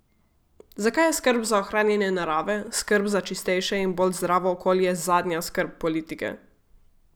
Zakaj je skrb za ohranjanje narave, skrb za čistejše in bolj zdravo okolje zadnja skrb politike?